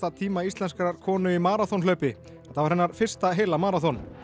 tíma íslenskrar konu í maraþonhlaupi þetta var hennar fyrsta heila maraþon